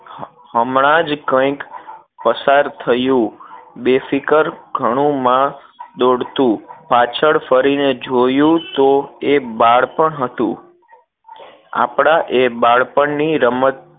હમણાં જ કઈક પસાર થયો બેફિકર ઘણું માં દોડતું પાછ્ળ ફરી ને જોયું તો એ બાળપણ હતું આપના એ બાળપણ ની રમત